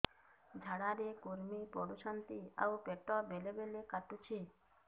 ଝାଡା ରେ କୁର୍ମି ପଡୁଛନ୍ତି ଆଉ ପେଟ ବେଳେ ବେଳେ କାଟୁଛି